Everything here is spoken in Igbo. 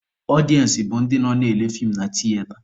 Ọdịensị bụ ndị nọ na-ele feem na tiyeta.